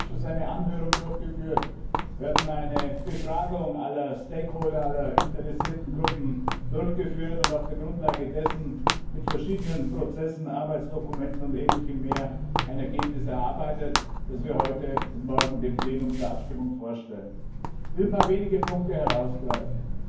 Wir haben im Ausschuss eine Anhörung durchgeführt, wir hatten eine Befragung aller Stakeholder, aller interessierten Gruppen durchgeführt und auf dieser Grundlage mit verschiedenen Prozessen, Arbeitsdokumenten und ähnlichem mehr ein Ergebnis erarbeitet, das wir heute und morgen dem Plenum zur Abstimmung vorstellen. Ich will ein paar wenige Punkte herausgreifen.